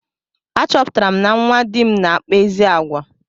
A chọpụtara na nwa dị m na-akpa ezi àgwà.